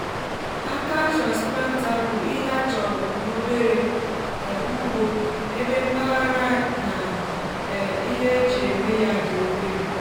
áká transplanter bú ìhè á chọrọ n'obere um ụgbo ébé mpaghara na um íhé ejì èmé ya dị obere